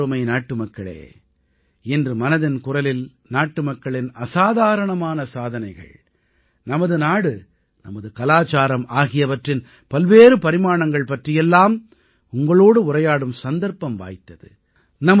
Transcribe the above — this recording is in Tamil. எனதருமை நாட்டுமக்களே இன்று மனதின் குரலில் நாட்டுமக்களின் அசாதாரணமான சாதனைகள் நமது நாடு நமது கலாச்சாரம் ஆகியவற்றின் பல்வேறு பரிமாணங்கள் பற்றியெல்லாம் உங்களோடு உரையாடும் சந்தர்ப்பம் வாய்த்தது